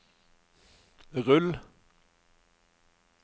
rull